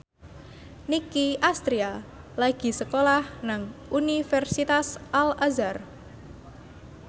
Nicky Astria lagi sekolah nang Universitas Al Azhar